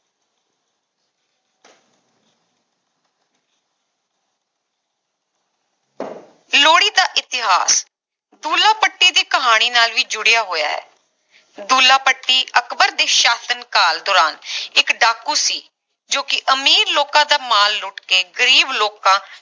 ਲੋਹੜੀ ਦਾ ਇਤਿਹਾਸ ਦੁੱਲਾ ਭੱਟੀ ਦੀ ਕਹਾਣੀ ਨਾਲ ਵੀ ਜੁੜਿਆ ਹੋਇਆ ਹੈ ਦੁੱਲਾ ਭੱਟੀ ਅਕਬਰ ਦੇ ਸਾਸ਼ਨ ਕਾਲ ਦੌਰਾਨ ਇਕ ਡਾਕੂ ਸੀ ਜੋ ਕਿ ਅਮੀਰ ਲੋਕਾਂ ਦਾ ਮਾਲ ਲੁੱਟ ਕੇ ਗਰੀਬ ਲੋਕਾਂ